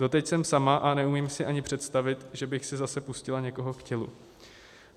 Doteď jsem sama a neumím si ani představit, že bych si zase pustila někoho k tělu."